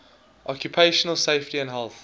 occupational safety and health